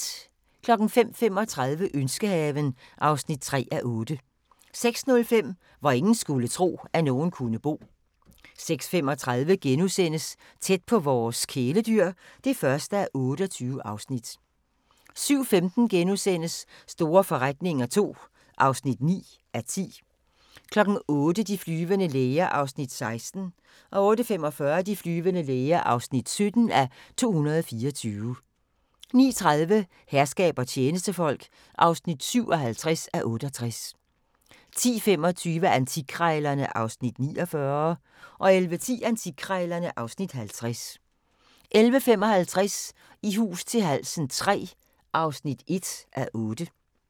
05:35: Ønskehaven (3:8) 06:05: Hvor ingen skulle tro, at nogen kunne bo 06:35: Tæt på vores kæledyr (1:28)* 07:15: Store forretninger II (9:10)* 08:00: De flyvende læger (16:224) 08:45: De flyvende læger (17:224) 09:30: Herskab og tjenestefolk (57:68) 10:25: Antikkrejlerne (Afs. 49) 11:10: Antikkrejlerne (Afs. 50) 11:55: I hus til halsen III (1:8)